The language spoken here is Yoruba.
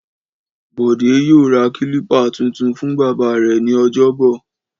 Bọ̀dé yóò ra kílípà tuntun fún bàbá rẹ̀ ní ọjọ́bọ̀.